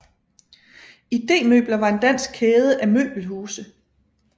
IDEmøbler var en dansk kæde af møbelhuse